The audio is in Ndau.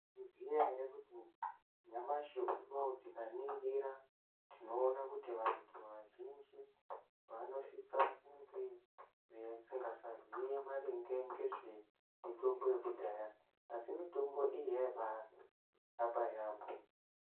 Munoziya here kuti nyamashe uno tikaningira tinoona ku antu azhinji vanosise kunge vasisaziva nezvemitombo yakudhaya asi mitombo iyi yaibaarapa yaamho.